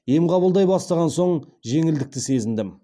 ем қабылдай бастаған соң жеңілдікті сезіндім